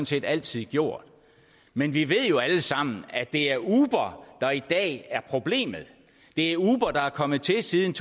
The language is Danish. set altid gjort men vi ved jo alle sammen at det er uber der i dag er problemet det er uber der er kommet til siden